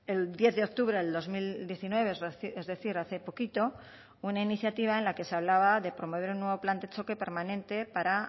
el diez de octubre del dos mil diecinueve es decir hace poquito una iniciativa en la que se hablaba de promover un nuevo plan de choque permanente para